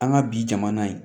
An ka bi jamana ye